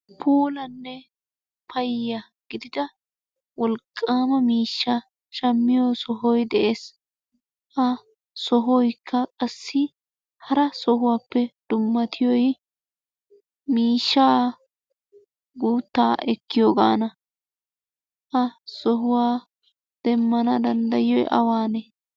Puulanne payya gidida wolqaama miishshaa shammiyo sohoy de'es. Ha sohoyikka qassi hara sohuwaappe dummatiyoy miishshaa guuttaa ekkiyogaana. Ha sohuwa demmana dandayiyoy awaanee?